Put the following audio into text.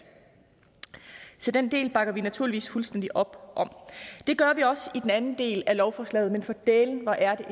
så den del bakker vi naturligvis fuldstændig op om det gør vi også om den anden del af lovforslaget men for dælen hvor er